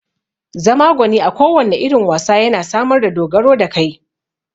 Zama gwani a kowanne irin wasa yana samar da dogaro da kai